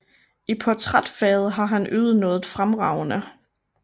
I portrætfaget har han ydet noget fremragende